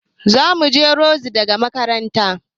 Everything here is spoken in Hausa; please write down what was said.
Zamuje rogzi daga makaranta